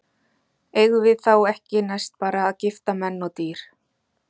Eigum við þá ekki næst bara að gifta menn og dýr?